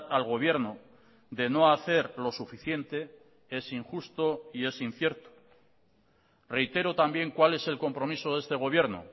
al gobierno de no hacer lo suficiente es injusto y es incierto reitero también cuál es el compromiso de este gobierno